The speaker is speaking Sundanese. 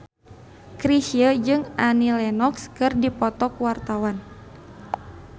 Chrisye jeung Annie Lenox keur dipoto ku wartawan